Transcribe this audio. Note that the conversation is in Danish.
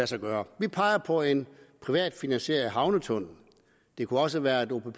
sig gøre vi peger på en privatfinansieret havnetunnel det kunne også være